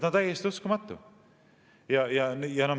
Täiesti uskumatu!